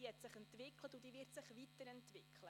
Sie hat sich entwickelt und wird sich weiterentwickeln.